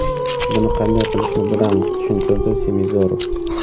Buni qanday qilishni bilamiz”, tushuntirdi Semizorov.